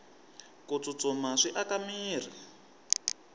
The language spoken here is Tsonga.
ku tsutsuma swi aka mirhi